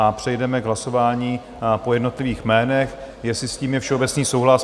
A přejdeme k hlasování po jednotlivých jménech, jestli s tím je všeobecný souhlas.